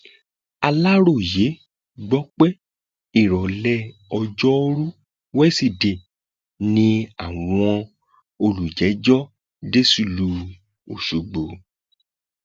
aláròye gbọ pé ìrọlẹ ọjọrùú wísidee ni àwọn olùjẹjọ dé sílùú ọṣọgbó